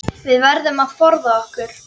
Við verðum að forða okkur.